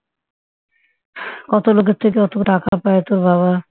কত লোকের থেকে অত লোকের থেকে টাকা পায় তোর বাবা